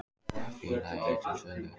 Félagið er til sölu.